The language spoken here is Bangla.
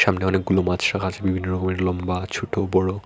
অনেক গুলো মাছ রাখা আছে বিভিন্ন রকমের লম্বা ছোট বড়।